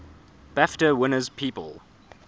bafta winners people